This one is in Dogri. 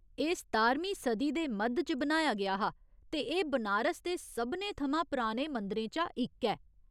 एह् सतारमीं सदी दे मद्ध च बनाया गेआ हा, ते एह् बनारस दे सभनें थमां पराने मंदरें चा इक ऐ।